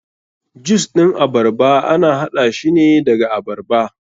Jus ɗin abarba ana haɗa shine daga abarba.